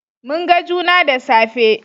Mun ga juna da safe